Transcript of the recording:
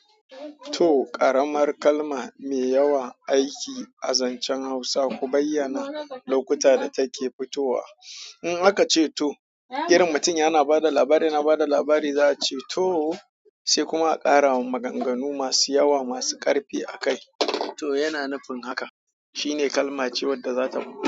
To, ƙaramar kalma mai yawan aiki a zancen Hausa, ku bayyana lokuta da take fitowa. In aka ce to, irin mutum yana ba da labari, yana ba da labari za a ce to, sai kuma a ƙara maganganu masu yawa, masu ƙarfi a kai. To yana nufin haka. Shine kalma ce wadda zata.